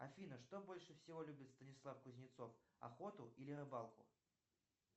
афина что больше всего любит станислав кузнецов охоту или рыбалку